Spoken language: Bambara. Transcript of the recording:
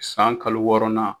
San kalo wɔɔrɔnan